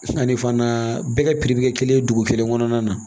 Ani fana bɛɛ ka bɛ kɛ kelen ye dugu kelen kɔnɔna na